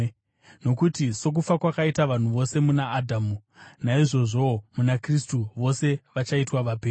Nokuti, sokufa kwakaita vanhu vose muna Adhamu, naizvozvowo muna Kristu vose vachaitwa vapenyu.